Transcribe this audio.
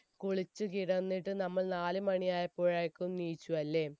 കുളിച്ച കിടന്നിട്ട് നമ്മൾ നാലുമണിയായപ്പോയേക്കും എണീച്ചു അല്ലെ